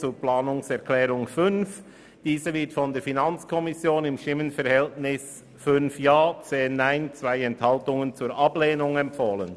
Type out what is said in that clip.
Der Antrag 5 wird von der FiKo mit 5 Ja- und 10 Nein-Stimmen bei 2 Enthaltungen zur Ablehnung empfohlen.